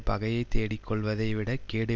பகையை தேடிக் கொள்வதை விடக் கேடு